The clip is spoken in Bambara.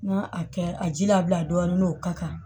N'a a kɛ a ji labila dɔɔni n'o ka kan